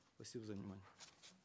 спасибо за внимание